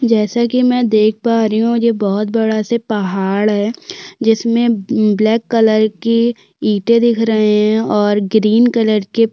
जैसे कि मैं देख पा रही हूं ये बहोत बड़ा से पहाड़ है जिसमें ब्लैक अ कलर की ईंटे दिख रही है और ग्रीन कलर के--